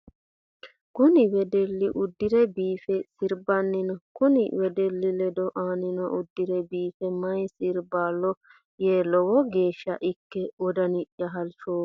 Kunni wedeli udire biife sirbanni no. Kunni wedeli ledo annino udire biife mayi sirbola yee lowo geesha ike woda'niyi halchoomo.